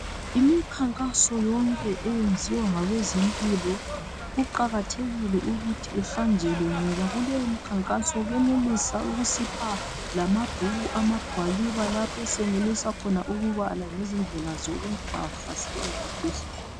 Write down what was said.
Imikhankaso yonke eyenziwa ngabezempilo kuqakathekile ukuthi ihanjelwe ngoba kuleyo mkhankaso benelisa ukusipha lamabhuku, amagwaliba lapho esenelisa khona ukubala ngezindlela zokungahlaselwa yimkhuhlane.